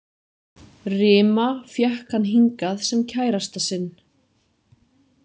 Rima fékk hann hingað sem kærasta sinn.